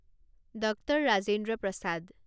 doctor Rajendra Prasad